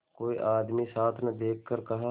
कोई आदमी साथ न देखकर कहा